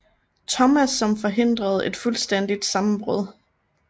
Thomas som forhindrede et fuldstændigt sammenbrud